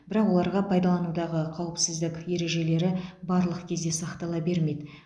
бірақ оларға пайдаланудағы қауіпсіздік ережелері барлық кезде сақтала бермейді